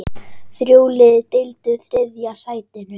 Þrjú lið deildu þriðja sætinu.